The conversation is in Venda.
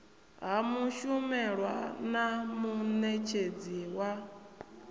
ha mushumelwa na munetshedzi wa